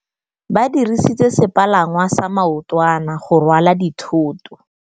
Ba dirisitse sepalangwasa maotwana go rwala dithôtô.